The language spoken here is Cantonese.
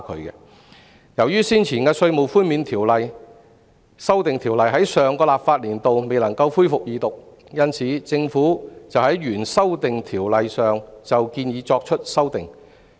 由於先前的《條例草案》在上個立法年度未能恢復二讀，政府因而就新建議對原先的《條例草案》作出修訂。